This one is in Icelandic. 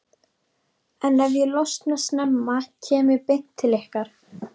en ef ég losna snemma kem ég beint til ykkar.